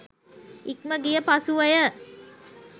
ඉක්ම ගිය පසුවය.